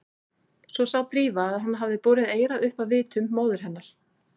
Svo sá Drífa að hann hafði borið eyrað upp að vitum móður hennar.